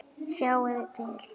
Sjáiði til!